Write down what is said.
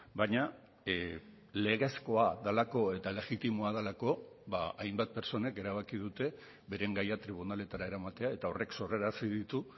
baina legezkoa delako eta legitimoa delako hainbat pertsonek erabaki dute beren gaia tribunaletara eramatea eta horrek sorrarazi ditu